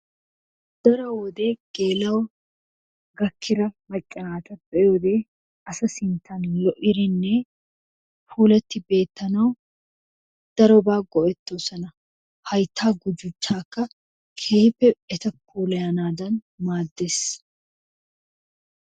Daro wode geel"o gaakkida macca naata be'iyoo wode asa sinttan lo'idinne puulatti beettanawu darobaa go"ettoosona. Hayttaa guduchchaaka keehippe eta puulayanaadan maaddees.